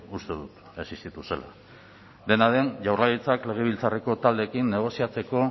uste dut existitu zela dena den jaurlaritzak legebiltzarreko taldeekin negoziatzeko